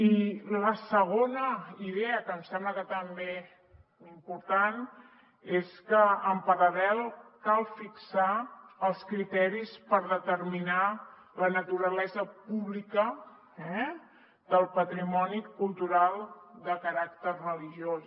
i la segona idea que em sembla també important és que en paral·lel cal fixar els criteris per determinar la naturalesa pública del patrimoni cultural de caràcter religiós